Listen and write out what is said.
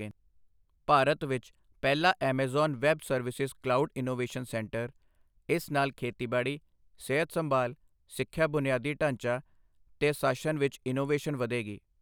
ਭਾਰਤ ਵਿੱਚ ਪਹਿਲਾ Amazon web services cloud innovation centre ਇਸ ਨਾਲ ਖੇਤੀਬਾੜੀ, ਸਿਹਤ ਸੰਭਾਲ਼, ਸਿੱਖਿਆ ਬੁਨਿਆਦੀ ਢਾਂਚਾ ਤੇ ਸ਼ਾਸਨ ਵਿੱਚ ਇਨੋਵੇਸ਼ਨ ਵਧੇਗੀ